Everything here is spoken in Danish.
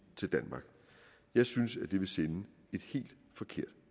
til danmark jeg synes det vil sende et helt forkert